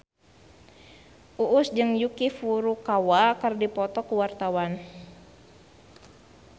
Uus jeung Yuki Furukawa keur dipoto ku wartawan